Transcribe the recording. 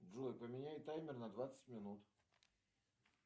джой поменяй таймер на двадцать минут